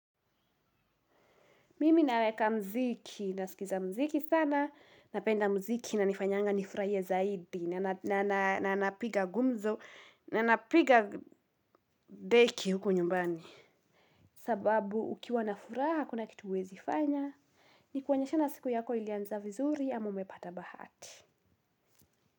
Mimi naweka muziki, nasikiza muziki sana, napenda muziki inanifanyanga nifurahie zaidi, na napiga gumzo, na napiga deki huko nyumbani. Sababu ukiwa na furaha, hakuna kitu huwezi fanya. Nikuinyeshana siku yako ilianza vizuri, ama umepata bahati.